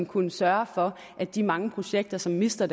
kunne sørge for at de mange projekter som mister